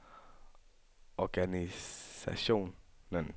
organisationen